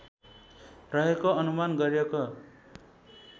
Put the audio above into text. रहेको अनुमान गरिएको